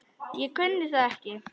Ég kunni það ekki.